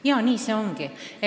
Jaa, nii see ongi.